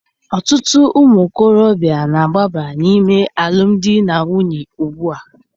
Ọtụtụ ụmụ okorobịa na-agbaba n'ime alụmdi na nwunye ugbu a.